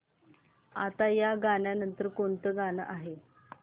आता या नंतर कोणतं गाणं आहे